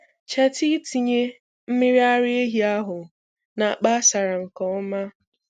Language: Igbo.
Cheta ịtinye mmiri ara ehi ahụ na akpa asara nke ọma.